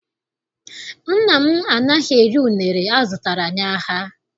Nna m anaghị eri unere azụtara n'ahịa.